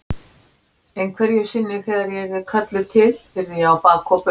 Einhverju sinni þegar ég yrði kölluð til yrði ég á bak og burt.